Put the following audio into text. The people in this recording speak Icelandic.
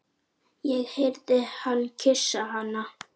Ég heyrði hann kyssa hana.